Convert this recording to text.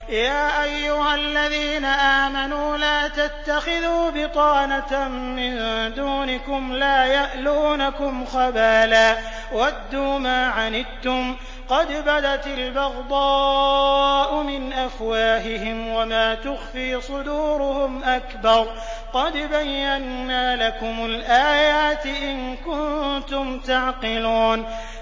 يَا أَيُّهَا الَّذِينَ آمَنُوا لَا تَتَّخِذُوا بِطَانَةً مِّن دُونِكُمْ لَا يَأْلُونَكُمْ خَبَالًا وَدُّوا مَا عَنِتُّمْ قَدْ بَدَتِ الْبَغْضَاءُ مِنْ أَفْوَاهِهِمْ وَمَا تُخْفِي صُدُورُهُمْ أَكْبَرُ ۚ قَدْ بَيَّنَّا لَكُمُ الْآيَاتِ ۖ إِن كُنتُمْ تَعْقِلُونَ